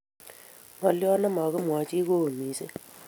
Ngolyonito nemagimwoni chii ko oo mising